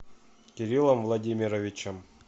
кириллом владимировичем